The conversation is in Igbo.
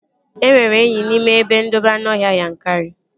E nwere enyi n'ime ebe ndobe anụọhịa Yankari